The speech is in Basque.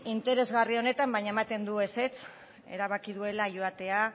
interesgarri honetan baina ematen du ezetz erabaki duela joatea